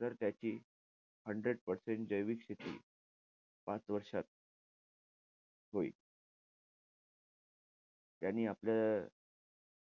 तर त्याची hundred percent जैविक शेती पाच वर्षात होईल. त्यांनी आपल्या या